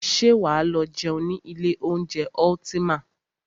Ṣé wà á lọ jẹun ní ilé oúnjẹ Ultima?